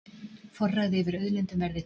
Forræði yfir auðlindum verði tryggt